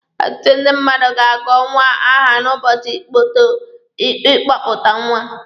Ọtụtụ ndị mmadụ ga-agọ nwa aha n'ụbọchị ịkpọpụta nwa.